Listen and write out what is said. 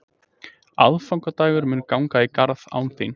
Aðfangadagur mun ganga í garð án þín.